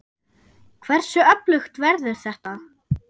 Hversu öflugt verður þetta?